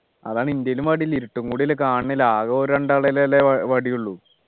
അതാണ് എൻ്റെലും വടിയില്ല ഇരുട്ടും കൂടി അല്ലേ കാണുന്നില്ല ആകെ ഒരു രണ്ടാളുടെ കയ്യിൽ ല്ലേ വടി ഉള്ളൂ